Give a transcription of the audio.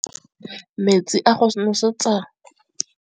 Metsi a go nosetsa dijalo a gasa gasa ke kgogomedi ya masepala.